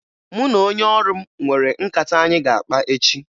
Mụ na onye ọrụ m nwere nkata anyị ga-akpa echi